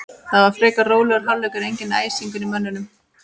Það var frekar rólegur hálfleikur, enginn æsingur í mönnum.